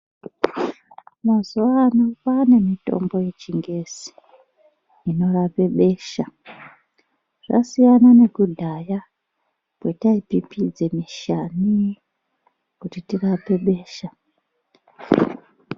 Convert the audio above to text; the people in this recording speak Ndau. Mazuvano ano kwaane mitombo yechingezi inorape besha. Zvasiyana nekudhaya kwetaipipidze mishani kuti tirape besha.